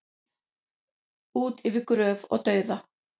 Út yfir gröf og dauða